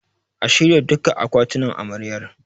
A shirya duka akwatinan Amaryar.